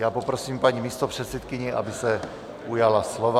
Já poprosím paní místopředsedkyni, aby se ujala slova.